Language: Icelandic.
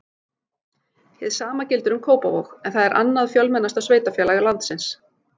Hið sama gildir um Kópavog en það er annað fjölmennasta sveitarfélag landsins.